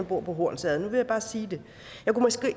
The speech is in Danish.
bor i hornsherred nu vil jeg bare sige det